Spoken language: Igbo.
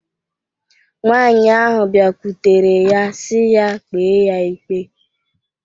Nwaanyị ahụ bịakwutere ya sị ya kpee ya ikpe.